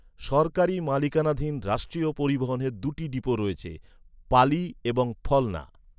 সরকারি মালিকানাধীন রাষ্ট্রীয় পরিবহনের দুটি ডিপো রয়েছে, পালি এবং ফলনা।